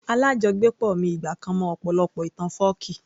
Alájọgbépọ̀ mi ìgbà kan mọ ọ̀pọ̀lọpọ̀ ìtàn fọ́ọ̀kí